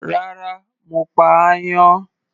Rárá, mo pa áyán.